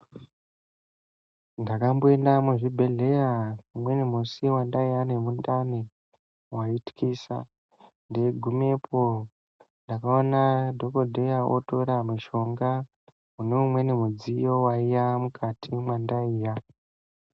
Ndakamboenda muzvibhedhleya umweni musi wandaiya nemundani mwaithlisa. Ndeigumepo ndakaona dhokodheya otore mushonga mune umweni mudziyo waiya mukati mwandaiya.